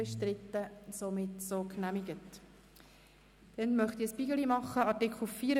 Wer den Antrag SP-JUSO-PSA annimmt, stimmt Nein.